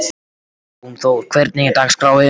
Jónþór, hvernig er dagskráin?